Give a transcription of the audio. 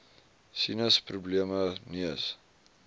sinus probleme neus